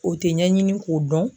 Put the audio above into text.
O tɛ ɲɛɲini k'o dɔn.